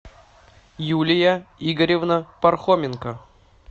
юлия игоревна пархоменко